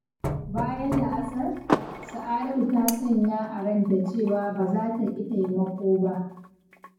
Bayan la’asar, Sa'adatu ta sanya a ranta cewa ba za ta ƙi taimako ba.